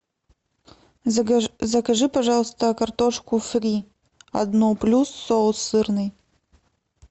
закажи пожалуйста картошку фри одну плюс соус сырный